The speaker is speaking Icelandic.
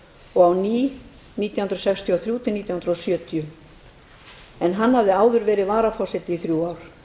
og á ný nítján hundruð sextíu og þrjú til nítján hundruð sjötíu en hafði áður verið varaforseti í þrjú ár